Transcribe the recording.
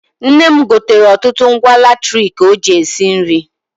Nne m gotere ọtụtụ ngwa latriki ọ ji esi nri.